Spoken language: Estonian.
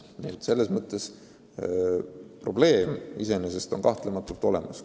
Nii et probleem iseenesest on kahtlemata olemas.